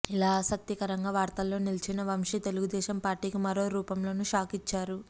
ఇలా ఆసక్తికరంగా వార్తల్లో నిలిచిన వంశీ తెలుగుదేశం పార్టీకి మరో రూపంలోనూ షాకిచ్చారు